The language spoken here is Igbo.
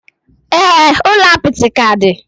Ee, ụlọ apịtị ka dị